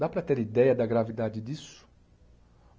Dá para ter ideia da gravidade disso?